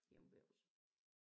Hjemme ved os